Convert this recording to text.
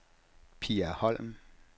Pia Holm